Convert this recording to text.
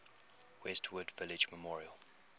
westwood village memorial